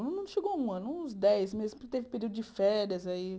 Não chegou a um ano, uns dez meses, porque teve período de férias aí.